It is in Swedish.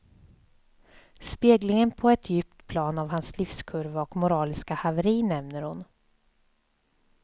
Speglingen på ett djupt plan av hans livskurva och moraliska haveri nämner hon.